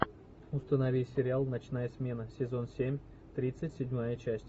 установи сериал ночная смена сезон семь тридцать седьмая часть